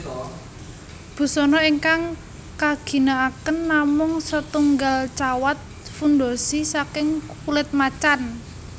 Busana ingkang kaginakaken namung setunggalcawat fundoshi saking kulit macan